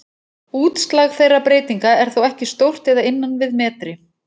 Útslag þeirra breytinga er þó ekki stórt eða innan við metri.